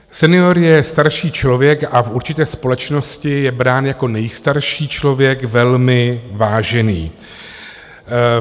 Senior je starší člověk a v určité společnosti je brán jako nejstarší člověk, velmi vážený.